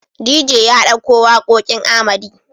DJ ya ɗauko waƙoƙin Arhmedy.